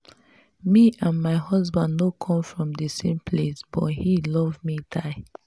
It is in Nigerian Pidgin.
me and my husband no come from the same place but he love me die